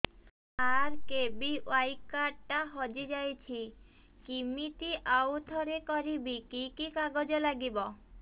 RKBY card ଟା ହଜିଯାଇଛି କିମିତି ଆଉଥରେ କରିବି କି କି କାଗଜ ଲାଗିବ